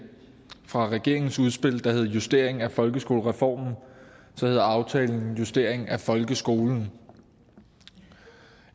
fra at regeringens udspil hed en justering af folkeskolereformen hedder aftalen så en justering af folkeskolen